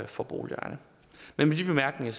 for boligejerne med de bemærkninger